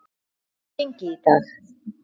Hvernig hefur gengið í dag?